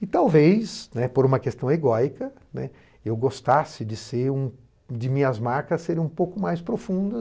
E talvez, né, por uma questão egóica, né, eu gostasse de ser de minhas marcas serem um pouco mais profunda